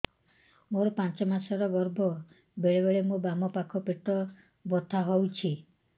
ମୋର ପାଞ୍ଚ ମାସ ର ଗର୍ଭ ବେଳେ ବେଳେ ମୋ ବାମ ପାଖ ପେଟ ବଥା ହଉଛି